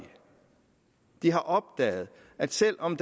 de har opdaget at selv om